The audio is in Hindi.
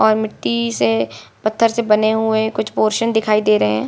और मिट्टी से पत्थर से बने हुए कुछ पोरशन दिखाई दे रहे है |